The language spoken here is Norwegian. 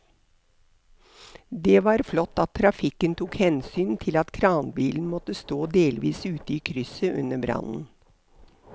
Det var flott at trafikken tok hensyn til at kranbilen måtte stå delvis ute i krysset under brannen.